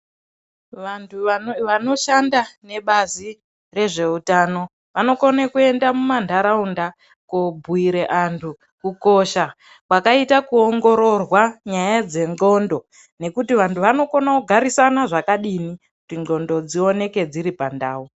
Vanhu vanoshanda nebazi rezveutano vanokone kuende mumanharaunda kobhuyire anhu kukosha kwakaite kuongororwa nyaya dzenxlondo nekuti vanhu vanokone kugarisana zvakadini kuti nxlondo dzioneke dziri pandau.